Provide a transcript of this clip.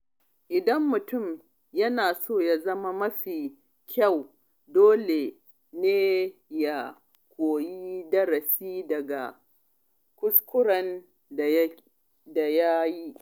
Idan mutum yana so ya zama mafi kyau, dole ne ya koyi darasi daga kuskuren da ya yi.